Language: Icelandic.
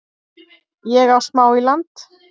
Ég á smá í land